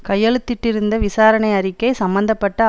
கையெழுத்திட்டிருந்த விசாரணை அறிக்கை சம்பந்த பட்ட